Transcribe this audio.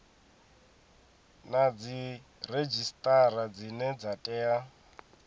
na dziredzhisitara dzine dza tea